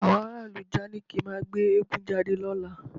Àwọn ará ìlú ìjànikin máa gbé eégún jáde lọ́la